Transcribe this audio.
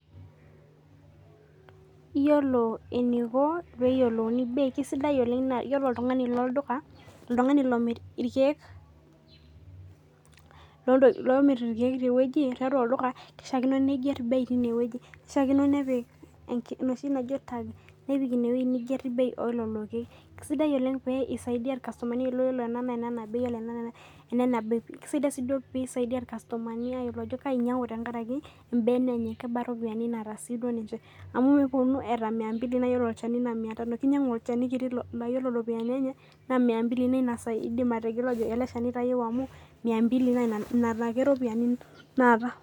Yiolo enikoo naa kisidai oleng ore oltung'ani omir irkeek tiatua olduka kishakino nepik enoshi naaji tag nepik enewueji pee ever bei elelo keek kisidai oleng amu kisaidia irkastomani yiolo ena naa enena bei kisidai pee esaidia irkastomani tenkaraki ebene enye kebaa eropiani naata ninche amu nepuonu etaa mia mbili naa ore olchani naa mia Tano kinyiangu olchani laa ore eropiani naa mia mbili neeku elo Shani egelu amu mia mbili naa Nena ake eropiani naata